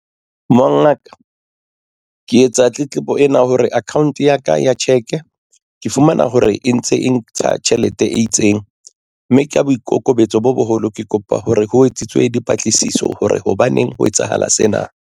Mongaka ke etsa tletlebo ena hore account ya ka ya cheque ke fumana hore e ntse e ntsha tjhelete e itseng mme ka boikokobetso bo boholo ke kopa hore ho etsitswe dipatlisiso hore hobaneng ho etsahala sena.